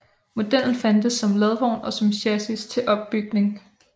Modellen fandtes som ladvogn og som chassis til opbygning